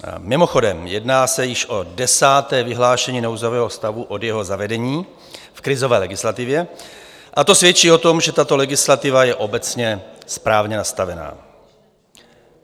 Mimochodem, jedná se již o desáté vyhlášení nouzového stavu od jeho zavedení v krizové legislativě a to svědčí o tom, že tato legislativa je obecně správně nastavena.